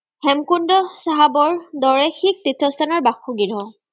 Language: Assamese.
হেমকুণ্ড চাহাবৰ দৰে শিখ তীৰ্থস্থানৰ বাসগৃহ।